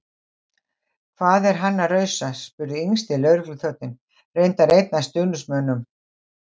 Hvað er hann að rausa? spurði yngsti lögregluþjónninn- reyndar einn af stuðningsmönnum